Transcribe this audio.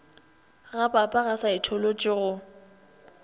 ga pap ga saetholotši go